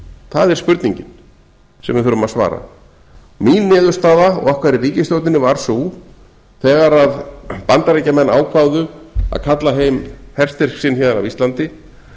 það er spurningin sem við þurfum að svara mín niðurstaða og okkar í ríkisstjórninni var sú þegar bandaríkjamenn ákváðu að kalla heim herstyrk sinn héðan af íslandi